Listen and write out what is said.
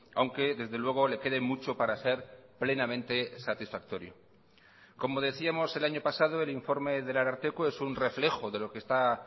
aunque desde luego le quede mucho para ser plenamente satisfactorio como decíamos el año pasado el informe del ararteko es un reflejo de lo que está